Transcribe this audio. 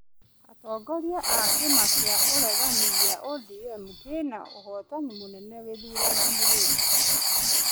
Atongora a kĩma kĩa ũregani gĩa ODM kĩna ũhotani mũnene gĩthurano-nĩ gĩkĩ